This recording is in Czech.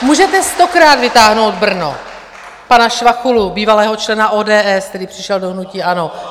Můžete stokrát vytáhnout Brno, pana Švachulu, bývalého člena ODS, který přešel do hnutí ANO.